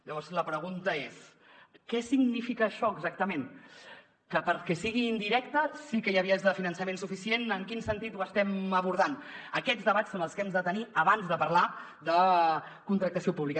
llavors la pregunta és què significa això exactament que perquè sigui indirecta sí que hi ha vies de finançament suficient en quin sentit ho estem abordant aquests debats són els que hem de tenir abans de parlar de contractació pública